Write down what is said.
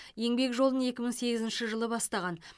еңбек жолын екі мың сегізінші жылы бастаған